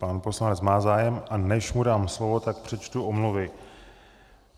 Pan poslanec má zájem, a než mu dám slovo, tak přečtu omluvy.